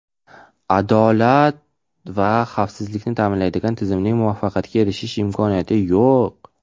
adolat va xavfsizlikni ta’minlamaydigan tizimning muvaffaqiyatga erishish imkoniyati yo‘q.